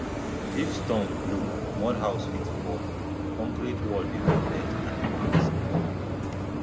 if storm blow mud house fit fall concrete wall dey protect animals more